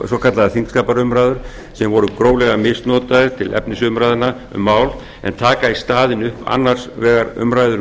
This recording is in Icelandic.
svokallaðar þingskapaumræður sem voru gróflega misnotaðar til efnisumræðna um mál en taka í staðinn upp annars vegar umræður um